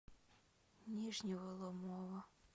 нижнего ломова